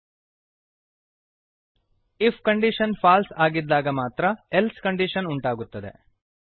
IF condition false ಆಗಿದ್ದಾಗ ಮಾತ್ರ else condition ಉಂಟಾಗುತ್ತದೆ